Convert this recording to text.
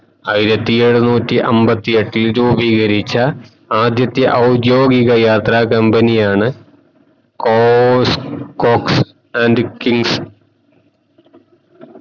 ആയിരത്തി എഴുനൂറ്റി അമ്പത്തിയെട്ടിൽ രൂപീകരിച്ച ആദ്യത്തെ ഔദ്യോദിക യാത്ര company യാണ് കോസ് cox and kings